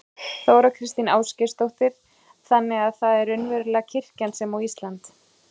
Þóra Kristín Ásgeirsdóttir: Þannig að það er raunverulega kirkjan sem á Ísland?